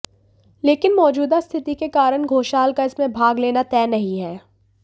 लेकिन मौजूदा स्थिति के कारण घोषाल का इसमें भाग लेना तय नहीं है